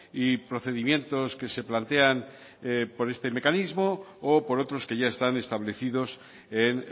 y procedimientos que se plantean por este mecanismo o por otros que ya están establecidos en